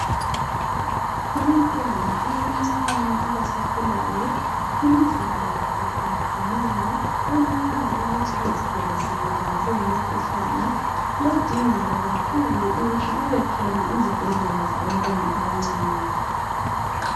Kubantwana abancane abasakhulayo imizimba yabo ayiqinanga .Kulula ukuthi bazithole sebebanjwe yimikhuhlane. Kuyadingeka kakhulu ukuthi kubekhona izibhedlela zabantwana abancane.